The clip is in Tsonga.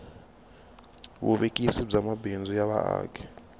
vuvekisi bya mabindzu ya vaaki